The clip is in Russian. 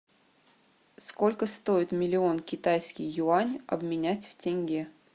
сколько стоит миллион китайский юань обменять в тенге